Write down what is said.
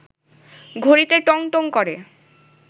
ঘড়িতে টং টং করে